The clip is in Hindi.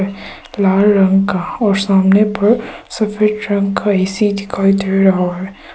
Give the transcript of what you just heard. लाल रंग का और सामने पर सफेद रंग का ऐ_सी दिखाई दे रहा है।